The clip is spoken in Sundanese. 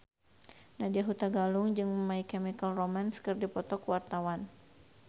Nadya Hutagalung jeung My Chemical Romance keur dipoto ku wartawan